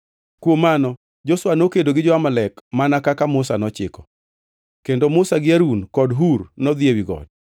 Kuom mano Joshua nokedo gi jo-Amalek mana kaka Musa nochiko, kendo Musa gi Harun kod Hur nodhi ewi got.